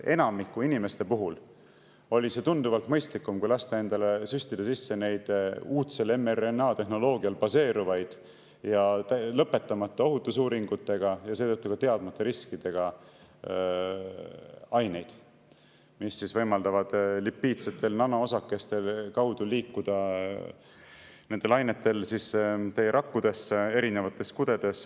Enamiku inimeste puhul oli see tunduvalt mõistlikum, kui lasta endale süstida sisse uudsel mRNA-tehnoloogial baseeruvaid ja lõpetamata ohutusuuringutega ja seetõttu ka teadmata riskidega aineid, mis liiguvad lipiidsete nanoosakeste abil rakkudesse, erinevatesse kudedesse.